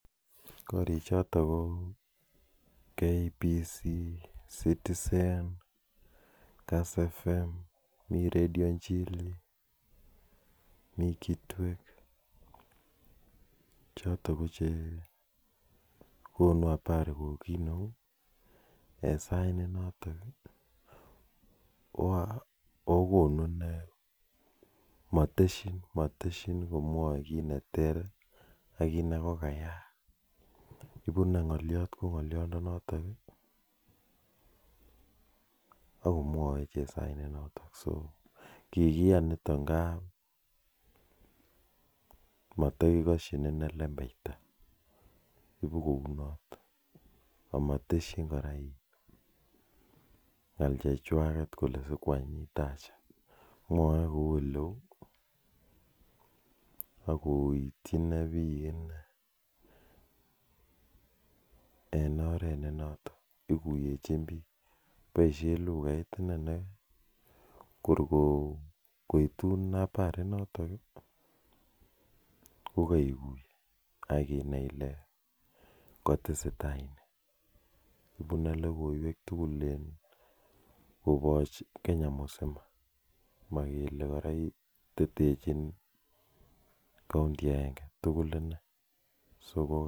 Karii chotok ko kbc,citizen, kitwek chotok ko chekonuu haari eng sait notok ako matshiin komwaee kiit notok kikiyaan nitk amun matakiteshiin inee lempeitaa mwaee kouu ole uuu ako itchiin piik eng oreet notok ak koitun habarii notok koitchiin komyee